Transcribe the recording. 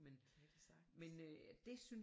Kan det sagtens